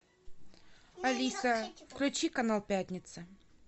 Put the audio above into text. алиса включи канал пятница